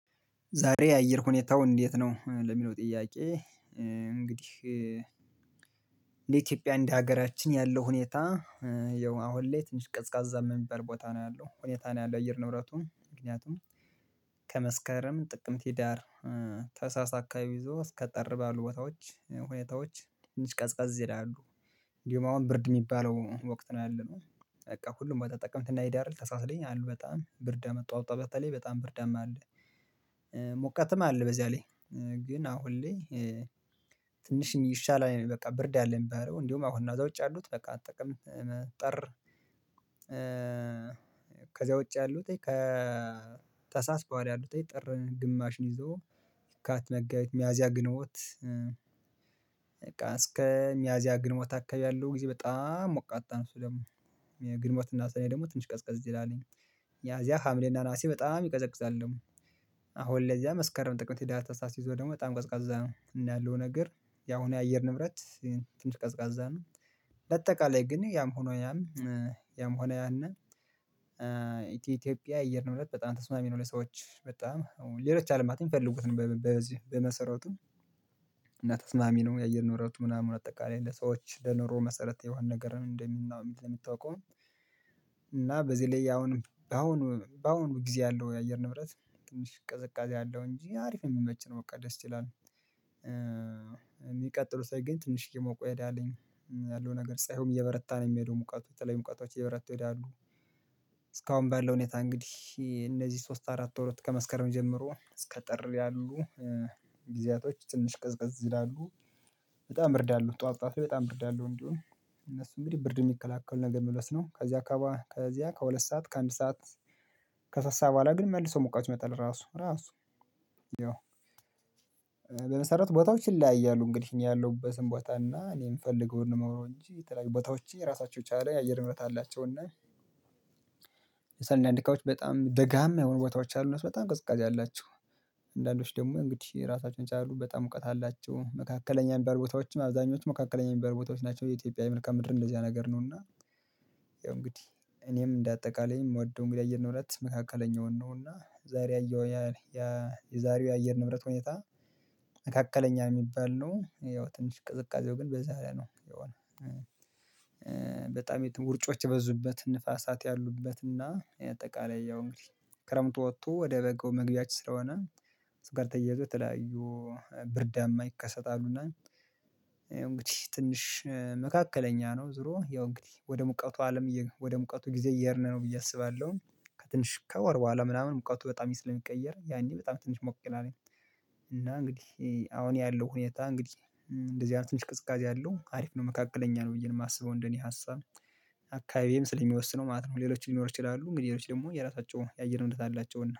ዛሬ የአየር ሁኔታው እንዴት ነው? ለሚለው ጥያቄ እንግዲህ እንደ ኢትዮጵያ እንደ ሀገራችን ያለው ሁኔታ ያው አሁን ላይ ትንሽ ቅዝቃዛ የሚባል ቦታ ነው ያለው ሁኔታ ነው ያለው አየር ንብረቱም ምክንያቱም ከመስከረም ጥቅምት ህዳር ተሃሳስ አካባቢ ይዞ እስከ ጠር ባሉ ቦታዎች ሁኔታዎች ትንሽ ቀዝቀዝ ይላሉ እንዲሁም አሁን ብርድ የሚባለው ወቅት ነው ያለነው በቃ ሁሉም ወጣት ጥቅምት እና ህዳር ተሃሳስ ላይ አሉ በጣም ብርድ ጠዋት ጠዋት በተለይ በጣም ብርዳም አለ ሙቀትም አለ በዚያ ላይ ግን አሁን ላይ ትንሽ የሚሻለው በቃ ብርዳ አለ የሚባለው እንዴዉም አሁን ነው ከዚያ ውጪ ያሉት በቃ ጥቅም ጠር ከዛ ውጭ ያሉት ከተሳስ በኋላ ያሉት ጥር ግማሽን ይዞ የካቲት መጋቢት ሚያዚያ ግንቦት እስከ ሚያዚያ ግንቦት አካባቢ ያለው ጊዜ በጣም ሞቃታ ነው እሱ ደግሞ የግንቦት እና ሰኔ ደግሞ ትንሽ ቀዝቀዝ ይላል ሚያዚያ ሀምሌና ነሀሴ በጣም ይቀዘቅዛል ደግሞ አሁን ለዚያ መስከረም ጥቅምት ህዳር ታሳስ ይዞ ደግሞ በጣም ቀዝቃዛ ነው እና ያለው ነገር ያሁኑ የአየር ንብረት ትንሽ ቀዝቃዛ ነው በአጠቃላይ ግን ያም ሆኖ ያም ያም ሆኖ ያንን የኢትዮጵያ የአየር ንብረት በጣም ተስማሚ ነው ለሰዎች በጣም ሌሎች አለማትም ሚፈልጉትን በመሰረቱም እና ተስማሚ ነው የአየር ንብረቱ ምናምን አጠቃላይ ለሰዎች ለንሮ መሰረት የሆነ ነገርን እንደምናውቅ ለምታውቀው እና በዚህ ላይ አሁንም በአሁኑ በአሁኑ ጊዜ ያለው የአየር ንብረት ትንሽ ቀዝቃዜ አለው እንጂ አሪፍ የምመች ነው በቃ ደስ ይላል የሚቀጥለው ሳይገኝ ትንሽ እየሞቀ ይሄዳልኝ ያለው ነገር ፀሀዩም እየበረታ ነው የሚሄደው ሙቀቱም የተለዩ ሙቀቶች እየበረቱ ይሄዳሉ እስካሁን ባለው ሁኔታ እንግዲህ እነዚህ ሶስት አራት ወሮች ከመስከረም ጀምሮ እስከ ጥር ያሉ ጊዜያቶች ትንሽ ቅዝቅዝ ይላሉ በጣም ብርድ አለው ጠዋት ጠዋት በጣም በርድ አለው እንዴዉም እነሱ እንግዲህ ብርድ የሚከላከለውን ነገር መልበስ ነው ከዚያ ከዚያ ከሁለት ሰዓት ከአንድ ሰዓት ከሶስት ሰዓት በኋላ ግን መልሶ ሙቀት ይመጣል ራሱ ራሱ ያው በመሰረቱ ቦታዎች ይለያያሉ እንግዲህ እኛ ያለሁበትን ቦታ እና እኔ የምፈልገውን የማወራው እንጂ የተለያዩ ቦታዎች የራሳቸው የቻለ የአየር ምህረት አላቸው እና አንዳንድ አካባቢዎች በጣም ደጋማ የሆኑ ቦታዎች አሉ እነሱ በጣም ቅዝቃዜ አላቸው አንዳንዶች ደግሞ እንግዲህ ራሳቸውን የቻሉ በጣም ሙቀት አላቸው። መካከለኛ የሚባሉ ቦታዎችም አብዛኞቹ መካከለኛ የሚባሉ ቦታዎች ናቸው የኢትዮጵያ የመልካም ምድር እንደዚያ ነገር ነው እና ያው እንግዲህ እኔም እንደ አጠቃላይ የምወደው እንግዲህ አየር ንብረት መካከለኛውን ነው እና ዛሬ ያየው ያ የዛሬው የአየር ንብረት ሁኔታ መካከለኛ የሚባል ነው ያው ትንሽ ቅዝቃዜው ግን በዛ ላይ ነው የሆነው በጣም የትም ውርጮች የበዙበት ንፋሳት ያሉበት እና አጠቃላይ ያው እንግዲህ ክረምቱ ወጥቶ ወደ በጋው መግቢያችን ስለሆነ ከሱ ጋር ተያይዞ ተለያዩ ብርዳማ ይከሰታሉ እና እንግዲህ ትንሽ መካከለኛ ነው ዙሮ ያው እንግዲህ ወደ ሙቀቱ አለም ወደ ሙቀቱ ጊዜ እየሄድን ነው ብዬ አስባለሁ ከትንሽ ከወር በኋላ ምናምን ሙቀቱ በጣም ስለሚቀየር ያኔ በጣም ትንሽ ሞቅ ይላልኝ እና እንግዲህ አሁን ያለው ሁኔታ እንግዲህ እንደህ አይነት ትንሽ ቅዝቃዜ አለው አሪፍ ነው መካከለኛ ነው ብዬ የማስበው እንደኔ ሀሳብ አካባቢዬም ስለሚወስነው ማለት ነው ሌሎች ሊኖር ይችላሉ እንግዲህ ሌሎች ደግሞ የራሳቸው የአየር እምነት አላቸውና